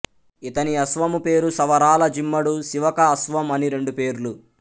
ఇతని అశ్వము పేరు సవరాల జిమ్మడు శివక అశ్వం అని రెండు పేర్లు